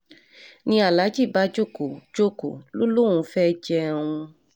ni aláàjì bá jókòó jókòó lọ lòún fẹ́ẹ́ jẹun